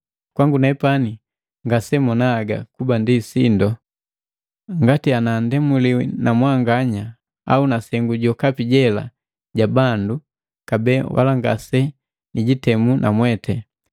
Kwangu nepani ngaseninga haga kuba ndi sindu ngati nandemuliwi na mwanganya au na sengu jokapi jela ja bandu, kabee wala ngasenijitemu namweti.